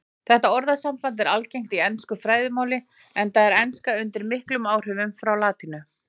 Þetta orðasamband er algengt í ensku fræðimáli enda er enska undir miklum áhrifum frá latínu.